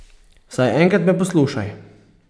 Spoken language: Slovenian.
Vsaj enkrat me poslušaj!